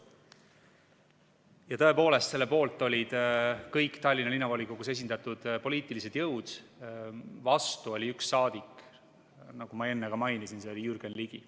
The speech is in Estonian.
Ja tõepoolest, selle poolt olid kõik Tallinna Linnavolikogus esindatud poliitilised jõud, vastu oli üks saadik, nagu ma enne ka mainisin, see oli Jürgen Ligi.